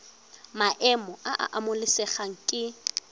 maemo a a amogelesegang ke